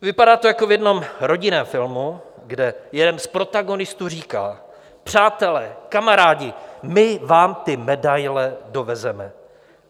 Vypadá to jako v jednom rodinném filmu, kde jeden z protagonistů říká: Přátelé, kamarádi, my vám ty medaile dovezeme.